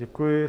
Děkuji.